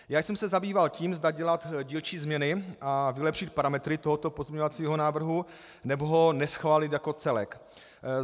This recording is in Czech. Já jsem se zabýval tím, zda dělat dílčí změny a vylepšit parametry tohoto pozměňovacího návrhu, nebo ho neschválit jako celek.